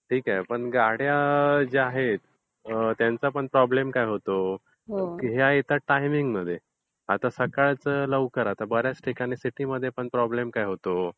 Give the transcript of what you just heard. ठीक आहे? पण गाड्या ज्या आहेत त्यांचा आपण प्रॉब्लेम काय होतो? ह्या येतात टायमिंगमध्ये. आता सकाळचं लवकर. आता बर् याच ठिकाणी सिटीमध्ये पण प्रॉब्लेम काय होतो?